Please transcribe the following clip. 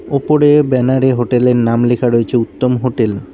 ওপরে ব্যানারে হোটেলের নাম লেখা রয়েছে উত্তম হোটেল ।